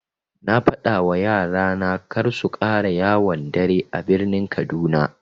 Na fadawa yara na karsu ƙara yawon dare a birnin kaduna.